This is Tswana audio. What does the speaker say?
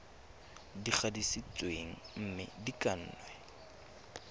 di gatisitsweng mme di kannwe